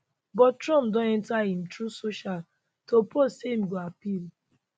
but trump don enta im truth social to post say im go appeal